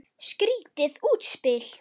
Skrýtið útspil.